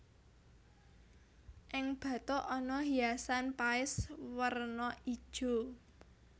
Ing bathuk ana hiasan paes werna ijo